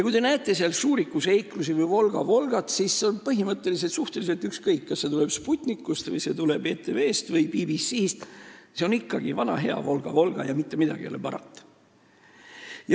Kui te näete seal "Šuriku seiklusi" või "Volga-Volgat", siis on suhteliselt ükskõik, kas see tuleb Sputnikust, ETV-st või BBC-st – see on ikkagi vana hea "Volga-Volga" ja mitte midagi ei ole parata.